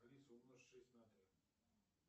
алиса умножь шесть на три